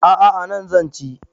A a anan zan ci.